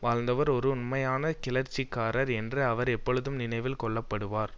வாழ்ந்தவர் ஒரு உண்மையான கிளர்ச்சிக்காரர் என்று அவர் எப்பொழுதும் நினைவில் கொள்ளப்படுவார்